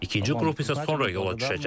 İkinci qrup isə sonra yola düşəcək.